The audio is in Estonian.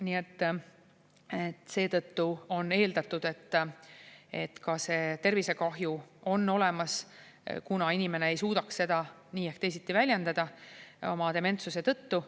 Nii et seetõttu on eeldatud, et see tervisekahju on olemas, kuigi inimene ei suudaks seda nii ehk teisiti väljendada oma dementsuse tõttu.